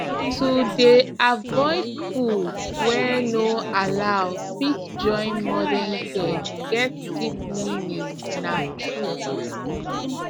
to dey avoid food wey no allow fit join modern care get deep meaning na true